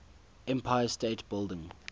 empire state building